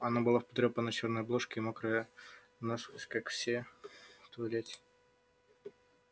она была в потрёпанной чёрной обложке и мокрая насквозь как все в туалете